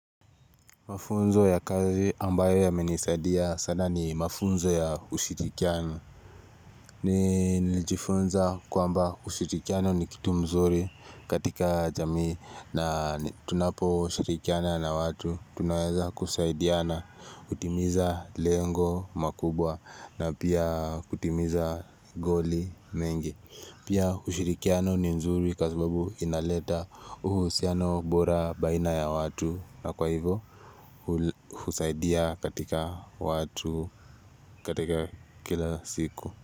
Mafunzo ya kazi ambayo yamenisaidia sana ni mafunzo ya ushirikiano. Ni nilijifunza kwamba ushirikiano ni kitu mzuri katika jamii na tunapo shirikiana na watu. Tunaweza kusaidiana kutimiza lengo makubwa na pia kutimiza goli mengi. Pia ushirikiano ni nzuri kwa sababu inaleta uhusiano bora baina ya watu na kwa hivyo. Husaidea katika watu katika kila siku.